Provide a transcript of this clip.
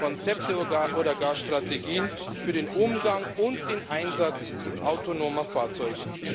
Konzepte oder gar Strategien für den Umgang und den Einsatz autonomer Fahrzeuge.